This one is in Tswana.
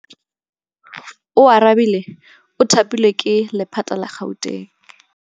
Oarabile o thapilwe ke lephata la Gauteng.